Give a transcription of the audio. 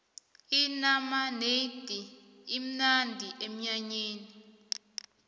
inamanedi imnandi emnyanyeni